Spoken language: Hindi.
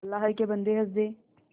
अल्लाह के बन्दे हंस दे